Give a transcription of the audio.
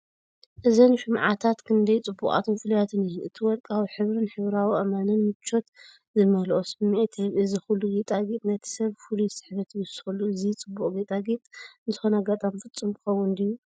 እዘን ሽምዓታት ክንደይ ጽቡቓትን ፍሉያትን እየን! እቲ ወርቃዊ ሕብሪን ሕብራዊ ኣእማንን ምቾት ዝመልኦ ስምዒት ይህብ። እዚ ኩሉ ጌጣጌጥ ነቲ ሰብ ፍሉይ ስሕበት ይውስኸሉ። እዚ ጽቡቕ ጌጣጌጥ ንዝኾነ ኣጋጣሚ ፍጹም ክኸውን ድዩ?